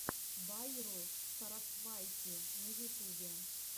байру сарасвайти на ютубе